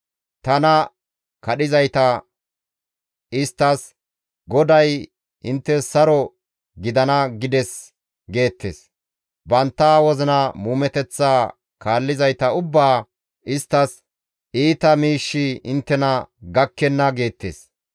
Tana kadhizayta isttas, ‹GODAY inttes saro gidana gides› geettes; bantta wozina muumeteththa kaallizayta ubbaa isttas, ‹Iita miishshi inttena gakkenna› geettes.